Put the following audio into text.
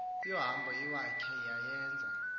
yohambo iwakhe wayeza